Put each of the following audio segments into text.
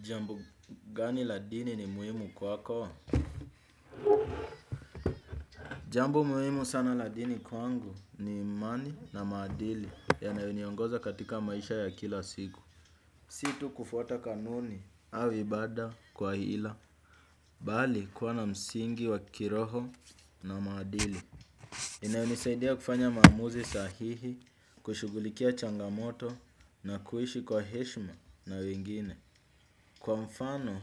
Jambo gani la dini ni muhimu kwa kwako. Jambo muhimu sana la dini kwangu ni imani na maadili yanayoniongoza katika maisha ya kila siku. Si tu kufuata kanuni au ibada kwa ila bali kuwa na msingi wa kiroho na maadili. Inayonisaidia kufanya maamuzi sahihi, kushughulikia changamoto na kuishi kwa heshima na wengine. Kwa mfano,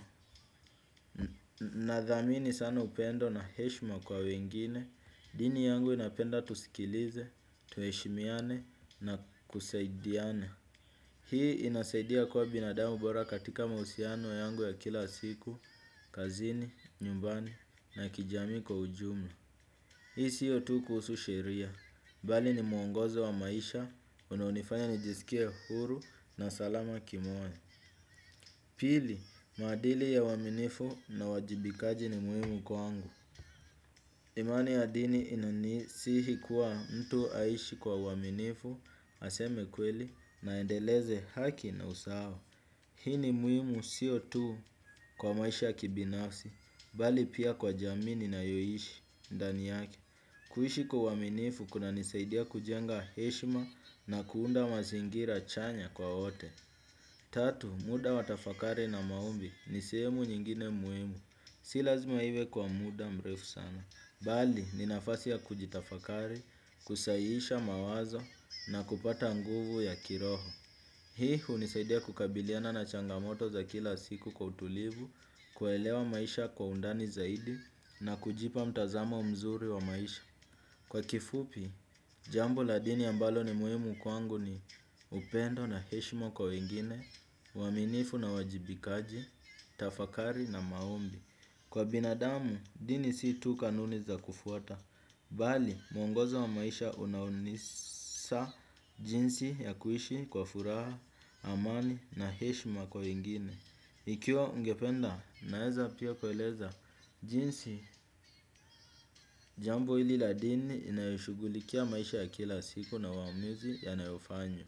nadhamini sana upendo na heshima kwa wengine, dini yangu inapenda tusikilize, tuheshimiane na kusaidiane. Hii inasaidia kuwa binadamu bora katika mahusiano yangu ya kila siku, kazini, nyumbani na kijamii kwa ujumla. Hii sio tu kuhusu sheria, bali ni muongozo wa maisha, unaonifanya nijisikie huru na salama kimoyo. Pili, maadili ya uaminifu na uwajibikaji ni muhimu kwangu. Imani ya dini inanisihi kuwa mtu aishi kwa uaminifu. Aseme kweli na aendeleze haki na usawa. Hii ni muhimu sio tu kwa maisha ya kibinafsi bali pia kwa jamii ninayoishi ndani yake. Kuishi kwa uaminifu kunanisaidia kujenga heshima na kuunda mazingira chanya kwa wote. Tatu, muda wa tafakari na maombi ni sehemu nyingine muhimu, si lazima iwe kwa muda mrefu sana. Bali, ni nafasi ya kujitafakari, kusahihisha mawazo na kupata nguvu ya kiroho. Hii hunisaidia kukabiliana na changamoto za kila siku kwa utulivu, kuelewa maisha kwa undani zaidi na kujipa mtazamo mzuri wa maisha. Kwa kifupi, jambo la dini ambalo ni muhimu kwangu ni upendo na heshima kwa wengine, uaminifu na uwajibikaji, tafakari na maombi. Kwa binadamu, dini si tu kanuni za kufuata. Bali, mwongozo wa maisha unaunisa jinsi ya kuishi kwa furaha, amani na heshima kwa wengine. Ikiwa ungependa naeza pia kueleza jinsi jambo hili la dini inayoshughulikia maisha ya kila siku na uamuzi yanayofanywa.